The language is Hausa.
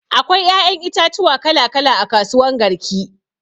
Akwai ƴaƴan itatuwa kala kala a kasuwan garki.